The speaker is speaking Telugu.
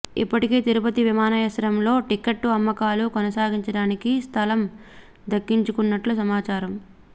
ఇప్పటికే తిరుపతి విమానాశ్రయం లో టికెట్ల అమ్మకాలు కొనసాగించడానికి స్ధలం దక్కించుకున్నట్లు సమాచారం